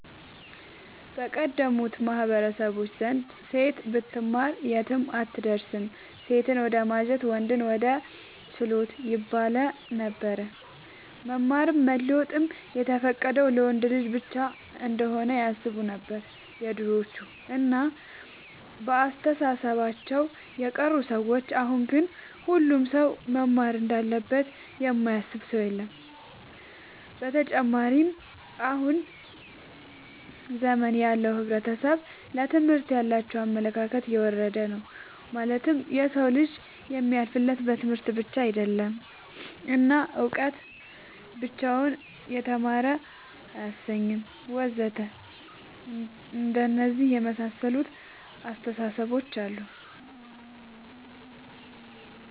በቀደሙት ማህበረሰቦች ዘንድ ሴት ብትማር የትም አትደርስም ሴትን ወደማጀት ወንድን ወደ ችሎት ይባለነበር። መማርም መለወጥም የተፈቀደው ለወንድ ልጅ ብቻ እንሆነ ያስቡነበር የድሮዎቹ እና በአስተሳሰባቸው የቀሩ ሰዎች አሁን ግን ሁሉም ሰው መማር እንዳለበት የማያስብ ሰው የለም። ብተጨማርም በአሁን ዘመን ያለው ሕብረተሰብ ለትምህርት ያላቸው አመለካከት የወረደ ነው ማለትም የሰው ልጅ የሚያልፍለት በትምህርት ብቻ አይደለም እና እውቀት ብቻውን የተማረ አያሰኝም ወዘተ አንደነዚህ የመሳሰሉት አስታሳሰቦች አሉ